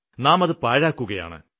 നാം അത് പാഴാക്കുകയാണ്